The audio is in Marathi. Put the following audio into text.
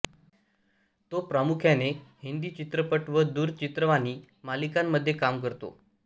तो प्रामुख्याने हिंदी चित्रपट व दूरचित्रवाणी मालिकांमध्ये कामे करतो